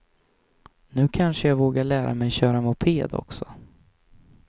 Nu kanske jag vågar lära mig köra moped också.